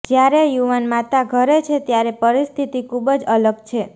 જ્યારે યુવાન માતા ઘરે છે ત્યારે પરિસ્થિતિ ખૂબ જ અલગ છે